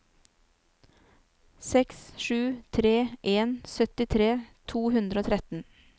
seks sju tre en syttitre to hundre og tretten